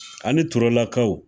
Ani Turelakaw